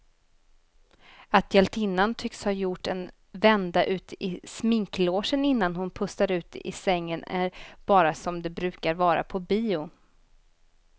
Att hjältinnan tycks ha gjort en vända ut i sminklogen innan hon pustar ut i sängen är bara som det brukar vara på bio.